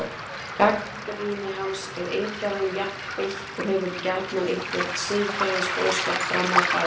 Gagnrýni hans er engan veginn jafn beitt og hefur gjarnan einhvern siðferðisboðskap fram að færa.